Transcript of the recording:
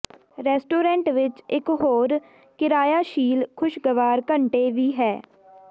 restaurant ਵਿੱਚ ਇੱਕ ਹੋਰ ਕਿਰਾਇਆਸ਼ੀਲ ਖੁਸ਼ਗਵਾਰ ਘੰਟੇ ਵੀ ਹੈ